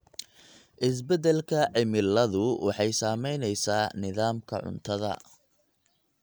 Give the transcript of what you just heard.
Isbeddelka cimiladu waxay saamaynaysaa nidaamka cuntada.